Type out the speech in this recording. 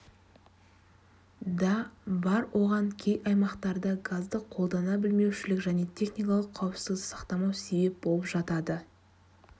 да бар оған кей аймақтарда газды қолдана білмеушілік және техникалық қауіпсіздікті сақтамау себеп болып жатады